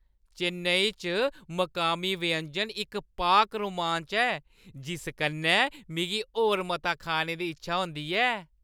चेन्नई च मकामी व्यंजन इक पाक रोमांच ऐ जिस कन्नै मिगी होर मता खाने दी इच्छा होंदी ऐ।